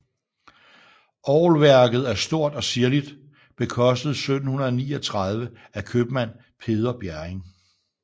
Orgelværket er stort og ziirligt bekostet 1739 af købmand Peder Bjerring